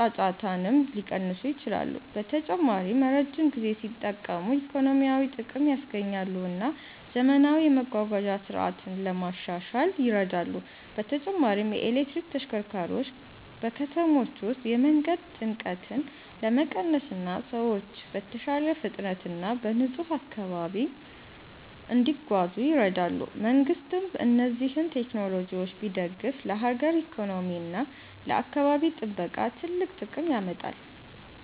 ጫጫታንም ሊቀንሱ ይችላሉ። በተጨማሪም ረጅም ጊዜ ሲጠቀሙ ኢኮኖሚያዊ ጥቅም ያስገኛሉ እና ዘመናዊ የመጓጓዣ ስርዓት ለማሻሻል ይረዳሉ። በተጨማሪም የኤሌክትሪክ ተሽከርካሪዎች በከተሞች ውስጥ የመንገድ ጭንቀትን ለመቀነስ እና ሰዎች በተሻለ ፍጥነት እና በንጹህ አካባቢ እንዲጓዙ ይረዳሉ። መንግሥትም እነዚህን ቴክኖሎጂዎች ቢደግፍ ለሀገር ኢኮኖሚ እና ለአካባቢ ጥበቃ ትልቅ ጥቅም ያመጣል።